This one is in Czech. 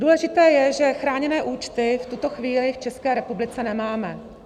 Důležité je, že chráněné účty v tuto chvíli v České republice nemáme.